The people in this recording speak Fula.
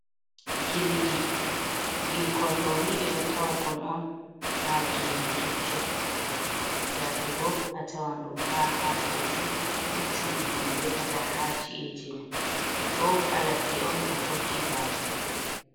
Gilɗi, gilkon ɗoni ɓeɗo tawakon on ha gene keccum yake go a tawan ɗum ha hakoji keccum ɗum ɓe defata ha ci’eji men ɗo ha ladde on ɗo tokki bafe.